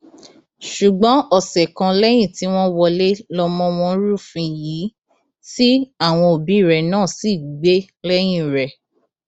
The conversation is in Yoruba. ṣùgbọn ọsẹ kan lẹyìn tí wọn wọlé lọmọ wọn rúfin yìí tí àwọn òbí rẹ náà sì gbé lẹyìn rẹ